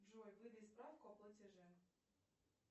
джой выдай справку о платеже